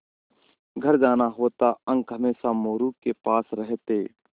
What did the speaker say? घर जाना होता अंक हमेशा मोरू के पास रहते